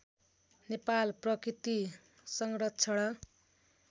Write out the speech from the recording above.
नेपाल प्रकृति संरक्षण